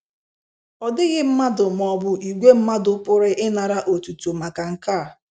Ọ dịghị mmadụ ma ọ bụ ìgwè mmadụ pụrụ ịnara otuto maka nke a.